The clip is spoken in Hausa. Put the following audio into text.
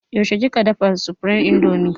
Yaushe kika dafa supreme indomie?